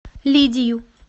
лидию